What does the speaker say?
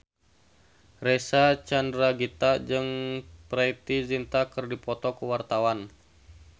Reysa Chandragitta jeung Preity Zinta keur dipoto ku wartawan